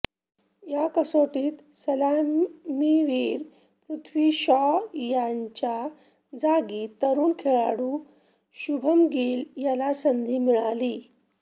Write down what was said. या कसोटीत सलामीवीर पृथ्वी शॉ याच्या जागी तरुण खेळाडू शुभमन गिल याला संधी मिळाली